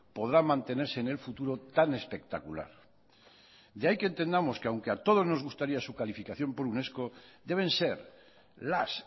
podrá mantenerse en el futuro tan espectacular de ahí que entendamos que aunque a todos nos gustaría su calificación por unesco deben ser las